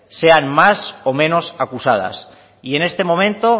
sean más o menos acusadas y en este momento